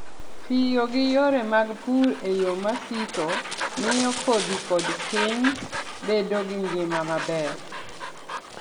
Tiyo gi yore mag pur e yo ma siko, miyo kodhi kod piny bedo gi ngima maber.